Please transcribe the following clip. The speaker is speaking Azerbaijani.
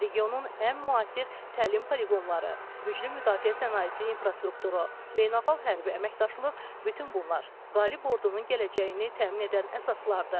Regionun ən müasir təlim poliqonları, güclü müdafiə sənayesi infrastrukturu, beynəlxalq hərbi əməkdaşlıq - bütün bunlar qalib ordunun gələcəyini təmin edən əsaslardır.